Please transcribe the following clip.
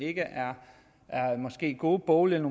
ikke er gode bogligt